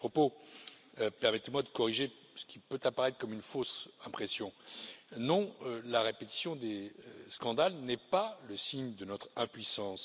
À ce propos, permettez moi de corriger ce qui peut apparaître comme une fausse impression non, la répétition des scandales n'est pas le signe de notre impuissance.